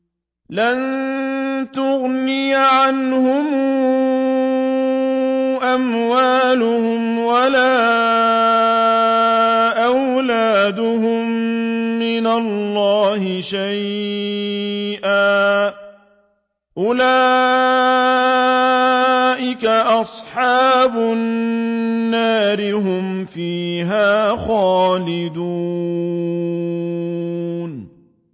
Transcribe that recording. لَّن تُغْنِيَ عَنْهُمْ أَمْوَالُهُمْ وَلَا أَوْلَادُهُم مِّنَ اللَّهِ شَيْئًا ۚ أُولَٰئِكَ أَصْحَابُ النَّارِ ۖ هُمْ فِيهَا خَالِدُونَ